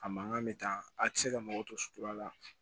A mankan bɛ taa a tɛ se ka mago to sutura la